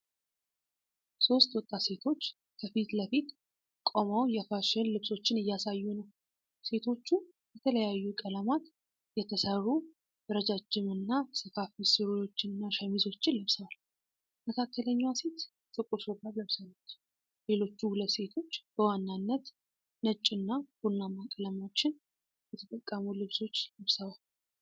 ሦስት ወጣት ሴቶች ከፊት ለፊት ቆመው የፋሽን ልብሶችን እያሳዩ ነው። ሴቶቹ በተለያዩ ቀለማት የተሠሩ ረጃጅምና ሰፋፊ ሱሪዎችንና ሸሚዞችን ለብሰዋል። መካከለኛዋ ሴት ጥቁር ሹራብ ለብሳለች። ሌሎቹ ሁለቱ ሴቶች በዋናነት ነጭ እና ቡናማ ቀለሞችን የተጠቀሙ ልብሶች ለብሰዋል።